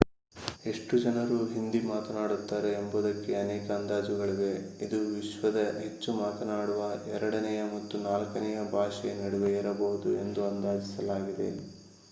ಎಷ್ಟು ಜನರು ಹಿಂದಿ ಮಾತನಾಡುತ್ತಾರೆ ಎಂಬುದಕ್ಕೆ ಅನೇಕ ಅಂದಾಜುಗಳಿವೆ ಇದು ವಿಶ್ವದ ಹೆಚ್ಚು ಮಾತನಾಡುವ ಎರಡನೆಯ ಮತ್ತು ನಾಲ್ಕನೆಯ ಭಾಷೆಯ ನಡುವೆ ಇರಬಹುದು ಎಂದು ಅಂದಾಜಿಸಲಾಗಿದೆ